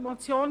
Die Motion